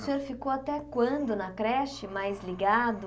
E o senhor ficou até quando na creche mais ligado?